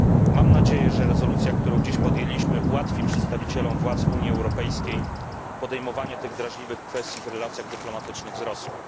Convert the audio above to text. Mam nadzieję, że rezolucja, którą dziś przyjęliśmy, ułatwi przedstawicielom władz Unii Europejskiej podejmowanie tych drażliwych kwestii w relacjach dyplomatycznych z Rosją.